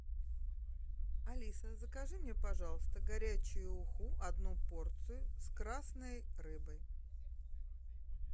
алиса закажи мне пожалуйста горячую уху одну порцию с красной рыбой